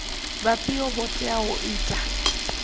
vhafhio vho teaho u ita